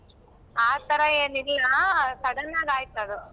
ಆ ತರ ಏನಿಲ್ಲ ಆ sudden ಆಗ್ ಆಯ್ತದು.